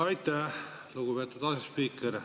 Aitäh, lugupeetud asespiiker!